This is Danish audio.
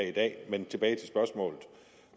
i dag men tilbage til spørgsmålet